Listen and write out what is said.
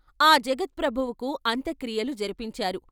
ఆ జగత్ప్రభువుకు అంత్యక్రియలు జరిపించారు.